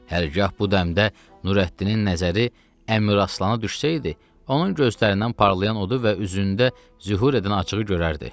Hərgah bu dəmdə Nurəddinin nəzəri Əmiraslana düşsəydi, onun gözlərindən parlayan odu və üzündə zühur edən acığı görərdi.